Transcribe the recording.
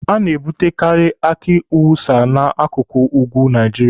A na-ebutekaari aki awusa n'akụkụ ugwu na Naijiria.